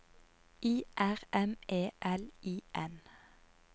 I R M E L I N